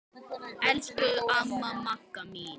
Elsku amma Magga mín.